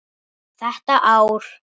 Þetta ár.